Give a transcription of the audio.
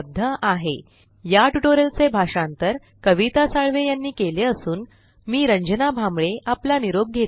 spoken tutorialorgnmeict intro या tutorial चे भाषांतर आवाज कविता साळवे यानी केले असूनमी रंजना भांबळे आपला निरोप घेते